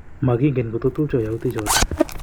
Mogigen kototupcho youtichoton.